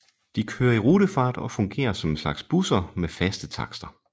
De kører i rutefart og fungerer som en slags busser med faste takster